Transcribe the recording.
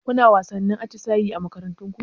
Kuna wasannin atisaye a makarantar ku?